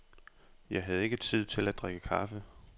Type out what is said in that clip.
Jeg havde ikke tid til at drikke kaffe.